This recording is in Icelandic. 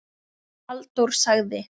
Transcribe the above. Halldór sagði